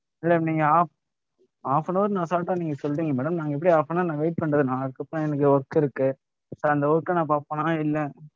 madam நீங்க half half an hour னு assault ஆ நீங்க சொல்லிட்டீங்க madam நாங்க எப்படி half an hour நாங்க wait பண்றது? நான் அதுக்கப்புறம் எனக்கு work இருக்கு இப்ப அந்த work அ நான் பார்ப்பனா? இல்லை!